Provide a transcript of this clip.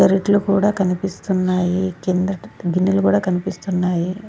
గారేట్లు కూడా కనిపిస్తున్నాయి కింద గిన్నెలు కూడా కనిపిస్తున్నాయి.